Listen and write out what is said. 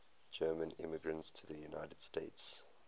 german immigrants to the united states